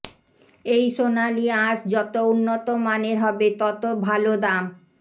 এই সোনালী আঁশ যত উন্নত মানের হবে তত ভালো দাম